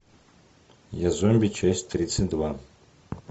я зомби часть тридцать два